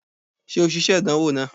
Ṣe o ṣiṣe idanwo naa?